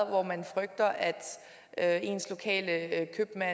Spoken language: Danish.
hvor man frygter at ens lokale købmand